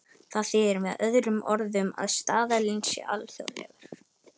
Það þýðir með öðrum orðum að staðallinn sé alþjóðlegur.